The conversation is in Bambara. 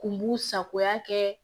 Kun bu sagoya kɛ